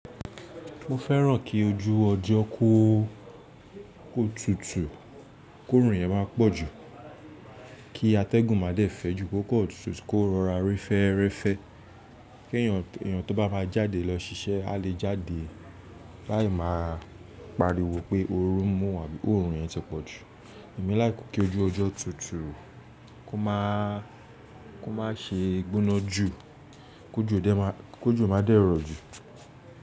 Mo fẹ́ràn kí ojú ọjọ́ kó ó tutù, kó òòrùn yẹn má pọ̀jù, kí atẹ́gùn má dẹ́ fẹ̀ẹ́ ju, kó kọ̀ ọ̀tútù kó rọra ri ferefe, kí èyàn tó bá má jáde lọ ṣiṣẹ́ a lè jáde láì má pariwo pé oru mú abí òòrùn yẹn ti pọ̀jù. Èmi like kí ojú ọjọ́ tutù kó má ṣe gbóná jù, kó jo má dẹ́rọ̀ jù.